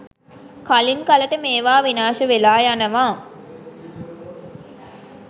කලින් කලට මේවා විනාශ වෙලා යනවා.